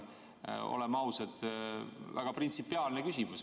See on, oleme ausad, väga printsipiaalne küsimus.